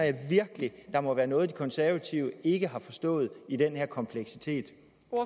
virkelig at der må være noget de konservative ikke har forstået i den her kompleksitet